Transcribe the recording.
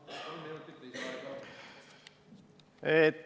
Palun, kolm minutit lisaaega!